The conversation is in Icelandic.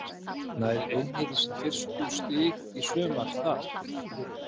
Nær Einherji í sín fyrstu stig í sumar þar?